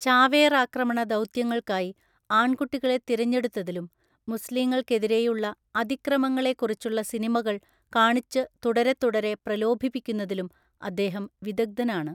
ചാവേറാക്രമണ ദൗത്യങ്ങൾക്കായി ആൺകുട്ടികളെ തിരഞ്ഞെടുത്തതിലും മുസ്ലീങ്ങൾക്കെതിരെയുള്ള അതിക്രമങ്ങളെക്കുറിച്ചുള്ള സിനിമകൾ കാണിച്ചു തുടരെത്തുടരെ പ്രലോഭിപ്പിക്കുന്നതിലും അദ്ദേഹം വിദഗ്‌ദ്ധനാണ്.